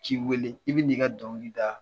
Ci wele i bɛ na i ka dɔnkili da.